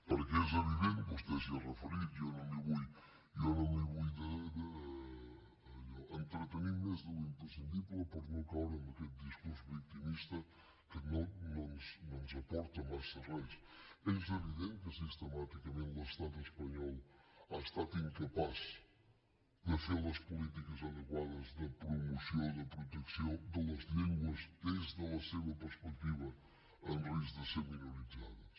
perquè és evident vostè s’hi ha referit jo no m’hi vull allò entretenir més de l’imprescindible per no caure en aquest discurs victimista que no ens aporta massa res que sistemàticament l’estat espanyol ha estat incapaç de fer les polítiques adequades de promoció de protecció de les llengües des de la seva perspectiva en risc de ser minoritzades